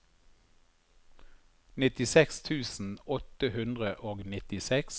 nittiseks tusen åtte hundre og nittiseks